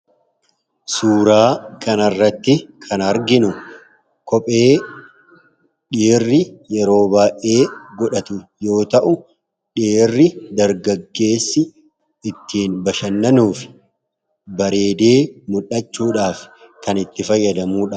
suuraa kana irratti kan arginu kophee dhiirri yeroo baa'ee godhatu yoo ta'u dhiirri dargaggeessi ittiin bashannanuuf bareedee muldhachuudhaaf kan itti fayyadamuudha.